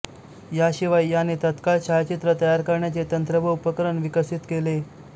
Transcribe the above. याशिवाय याने तत्काळ छायाचित्र तयार करण्याचे तंत्र व उपकरण विकसित केले